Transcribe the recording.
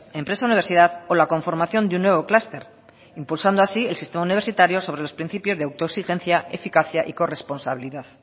empresa universidad o la conformación de un nuevo clúster impulsando así el sistema universitario sobre los principios de auto exigencia eficacia y corresponsabilidad